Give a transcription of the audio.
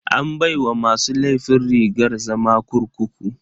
An baiwa masu laifin rigar zama kurkuku.